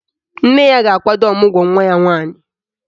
Nne ya ga-akwado ọmụgwọ nwa ya nwaanyị